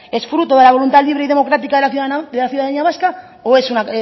es fruto de la voluntad libre y democrática de la ciudadanía vasco o es una